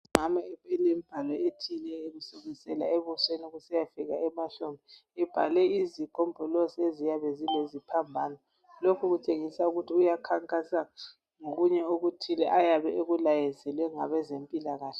Umama olembhalo etshiyeneyo usukusela ebusweni kusiya fika emahlombe ebhale izigombolozi eziyabe zileziphambano lokhu kutshengisa ukuthi uyakhankasa ngokunye okuthile ayabe ekulayezelwe ngabezempilakahle.